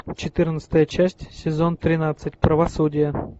четырнадцатая часть сезон тринадцать правосудие